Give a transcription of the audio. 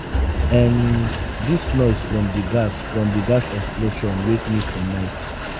um dis noise from di gas from di gas explosion wake me for night.